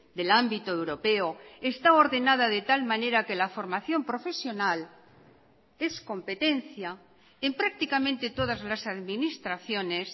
del ámbito europeo está ordenada de tal manera que la formación profesional es competencia en prácticamente todas las administraciones